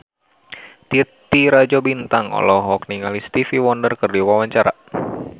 Titi Rajo Bintang olohok ningali Stevie Wonder keur diwawancara